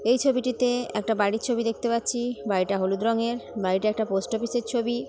এই ছবিটিতে একটা বাড়ির ছবি দেখতে পাচ্ছি। বাড়িটা হলুদ রঙের। বাড়িটা একটা পোস্ট অফিসের ছবি। ।